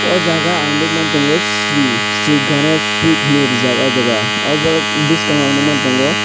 o jaga ang nogmang tango sri gonesh sweet hinui rijak o jaga oborok boskango ang nogmang tango.